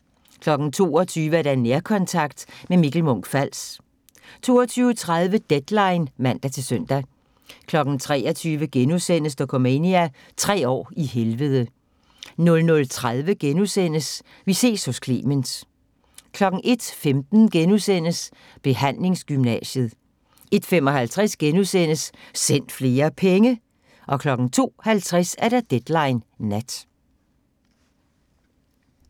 22:00: Nærkontakt – med Mikkel Munch-Fals 22:30: Deadline (man-søn) 23:00: Dokumania: Tre år i helvede * 00:30: Vi ses hos Clement * 01:15: Behandlingsgymnasiet * 01:55: Send flere penge! * 02:50: Deadline Nat